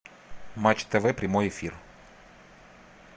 матч тв прямой эфир